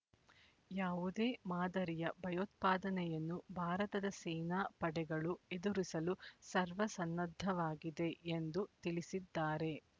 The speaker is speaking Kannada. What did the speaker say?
ಯಾವುದೇ ಮಾದರಿಯ ಭಯೋತ್ಪಾದನೆಯನ್ನು ಭಾರತದ ಸೇನಾ ಪಡೆಗಳು ಎದುರಿಸಲು ಸರ್ವಸನ್ನದ್ಧವಾಗಿದೆ ಎಂದು ತಿಳಿಸಿದ್ದಾರೆ